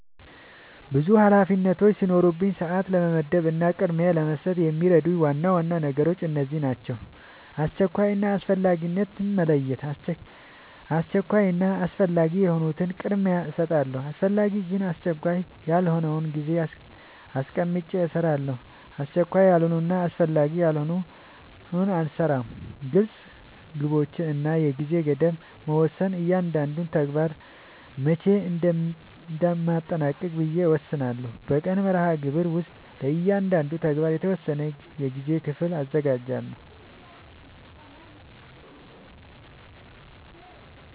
ብዙ ኃላፊነቶች ሲኖሩኝ ሰዓት ለመመደብ እና ቅድሚያ ለመስጠት የሚረዱኝ ዋና ዋና ነገሮች እነዚህ ናቸው :-# አስቸኳይ እና አስፈላጊነትን መለየት:- አስቸኳይ እና አስፈላጊ የሆኑትን ቅድሚያ እሰጣለሁ አስፈላጊ ግን አስቸካይ ያልሆነውን ጊዜ አስቀምጨ እሰራለሁ አስቸካይ ያልሆነና አስፈላጊ ያልሆነ አልሰራውም # ግልፅ ግቦች እና የጊዜ ገደብ መወሰን እያንዳንዱን ተግባር መቼ እንደሚጠናቀቅ ብዬ እወስናለሁ በቀን መርሃግብር ውስጥ ለእያንዳንዱ ተግባር የተወሰነ የጊዜ ክፍል አዘጋጃለሁ